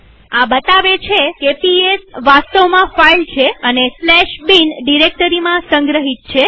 આ બતાવે છે કે પીએસ વાસ્તવમાં ફાઈલ છે અને bin ડિરેક્ટરીમાં સંગ્રહિત છે